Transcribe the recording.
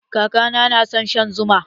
Kakana na son shan zuma.